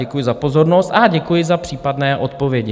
Děkuji za pozornost a děkuji za případné odpovědi.